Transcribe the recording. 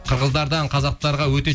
қырғыздардан қазақтарға өте